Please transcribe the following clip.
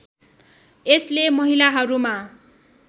यसले महिलाहरूमा